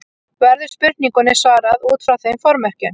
Verður spurningunni svarað út frá þeim formerkjum.